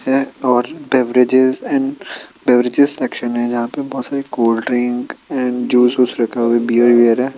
एं-और beverages and beverages section हैं जहाँ पर बहुत सारी कोल्डड्रिंक अँड जूस ऊस रखा हुआ है बियर वियर है।